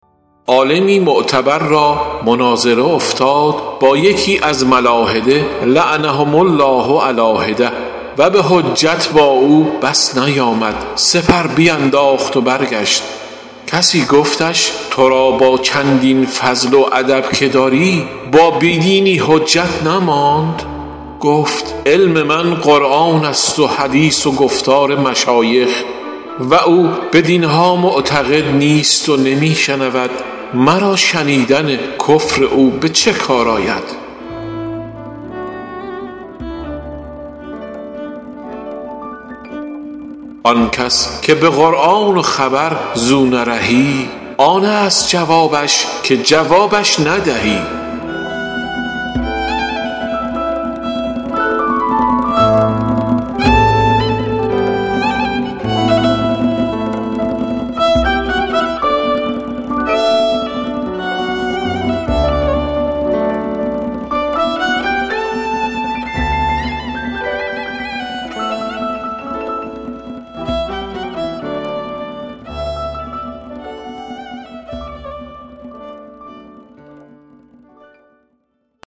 عالمی معتبر را مناظره افتاد با یکی از ملاحده لعنهم الله علیٰ حدة و به حجت با او بس نیامد سپر بینداخت و برگشت کسی گفتش تو را با چندین فضل و ادب که داری با بی دینی حجت نماند گفت علم من قرآن است و حدیث و گفتار مشایخ و او بدین ها معتقد نیست و نمی شنود مرا شنیدن کفر او به چه کار می آید آن کس که به قرآن و خبر زو نرهی آن است جوابش که جوابش ندهی